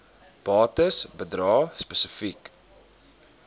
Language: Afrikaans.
bates bedrae spesifiek